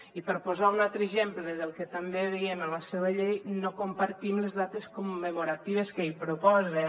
i per posar un altre exemple del que també veiem en la seua llei no compartim les dates commemoratives que hi proposen